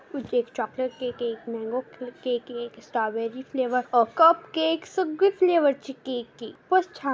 एक chocolate cake एक mango cake strawberry flavour a cupcake सगळे फ्लेवर चे केक आहे. खुपचं छान--